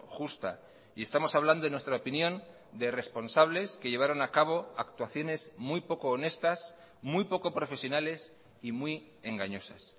justa y estamos hablando en nuestra opinión de responsables que llevaron a cabo actuaciones muy poco honestas muy poco profesionales y muy engañosas